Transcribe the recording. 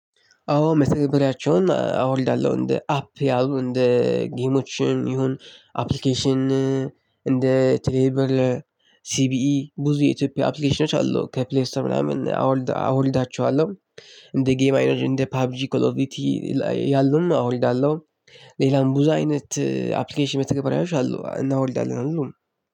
አዎ መተግበሪያቸውን አወርዳለሁ እንደ አፕ ያሉ እንደ ጌሞችን ይሁን አፕሊኬሽን እንደ ቴሌብል ሲቢኢ ብዙ የኢትዮጵያ አፕሊኬሽኖች አሉ ከፕሌስቶር ምናምን አወልድ አወልዳቸዋለሁ። እንደ ጌም አይነት እንደ ፓብ ጂ ኮሎቪቲ ያሉም አወርዳለሁ። ሌላም ብዙ አይነት አፕሊኬሽን መተግበሪያዎች አሉ እናወልዳለን ሁሉም